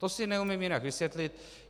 To si neumím jinak vysvětlit.